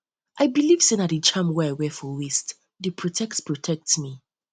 i dey believe sey na di charm wey i wear for waist dey protect protect me